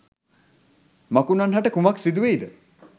මකුණන් හට කුමක් සිදු වෙයිද?